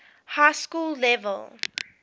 high school level